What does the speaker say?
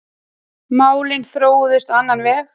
Málin þróuðust á annan veg.